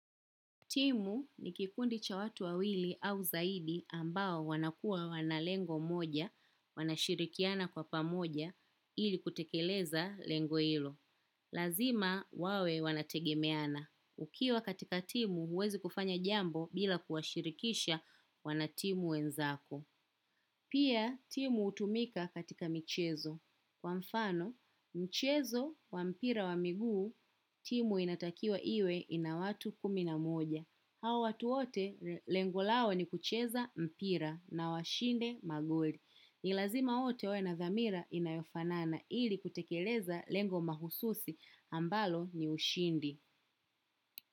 Timu ni kikundi cha watu wawili au zaidi ambao wanakua wana lengo moja, wanashirikiana kwa pamoja ili kutekeleza lengo hilo. Lazima wawe wanategemeana. Ukiwa katika timu huwezi kufanya jambo bila kuwashirikisha wanatimu wenzako. Pia timu utumika katika michezo. Kwa mfano, mchezo wa mpira wa miguu, timu inatakiwa iwe ina watu kumi na moja. Hawa watu wote lengo lao ni kucheza mpira na washinde magoli. Ni lazima wote wawe na dhamira inayofanana ili kutekeleza lengo mahususi ambalo ni ushindi.